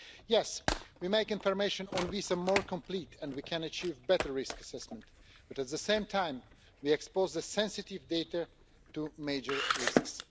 Yes, by making information on visas more complete we can achieve better risk assessment but, at the same time, we are exposing sensitive data to major risks.